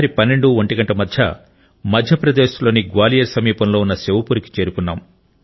రాత్రి పన్నెండు ఒంటి గంటలకు మధ్యప్రదేశ్ లోని గ్వాలియర్ సమీపంలో ఉన్న శివపురికి చేరుకున్నాం